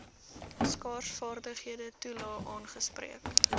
skaarsvaardighede toelae aangespreek